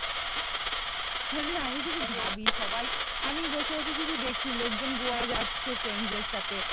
মানে আমি শুধু ভাবি সবাই আমি বসে বসে শুধু দেখি লোকজন গোয়া যাচ্ছে ফ্রেন্ডস দের সাথে